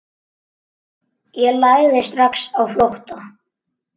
Ég lagði strax á flótta.